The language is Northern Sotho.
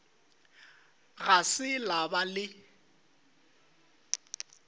ga se la ba le